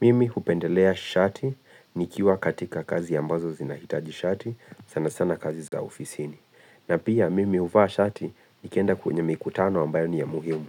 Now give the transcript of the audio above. Mimi hupendelea shati nikiwa katika kazi ambazo zinahitaji shati sana sana kazi za ofisini. Na pia mimi huvaa shati nikienda kwenye mikutano ambayo ni ya muhimu.